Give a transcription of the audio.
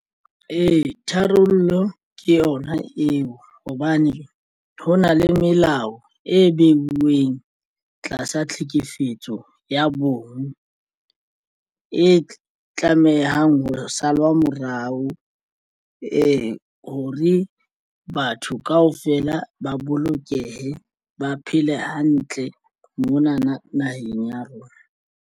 Ee, tharollo ke yona eo hobane ho na le melao e beuweng tlasa tlhekefetso ya bong e tlamehang ho salwa morao ee hore batho kaofela ba bolokehe ba phele hantle mona na naheng ya rona.